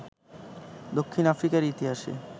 দক্ষিণ আফ্রিকার ইতিহাসে